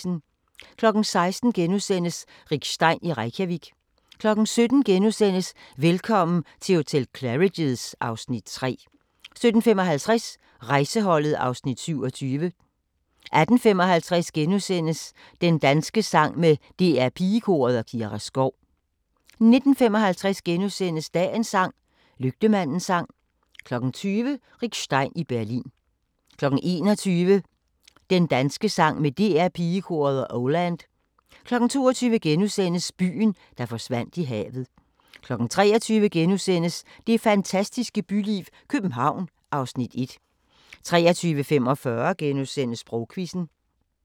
16:00: Rick Stein i Reykjavik * 17:00: Velkommen til hotel Claridge's (Afs. 3)* 17:55: Rejseholdet (Afs. 27) 18:55: Din danske sang med DR Pigekoret og Kira Skov * 19:55: Dagens sang: Lygtemandens sang * 20:00: Rick Stein i Berlin 21:00: Din danske sang med DR Pigekoret og Oh Land 22:00: Byen, der forsvandt i havet * 23:00: Det fantastiske byliv – København (Afs. 1)* 23:45: Sprogquizzen *